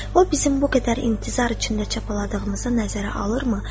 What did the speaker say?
O bizim bu qədər intizar içində çapaladığımıza nəzərə alırmı?